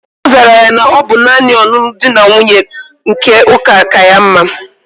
Ozara ya na obu nani onunu di na nwunye nke uka ka ya mma